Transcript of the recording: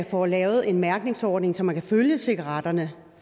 får lavet en mærkningsordning så man kan følge cigaretterne